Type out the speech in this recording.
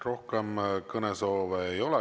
Rohkem kõnesoove ei ole.